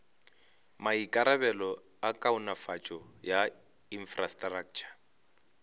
maikarabelo a kaonafatšo ya infrastraktšha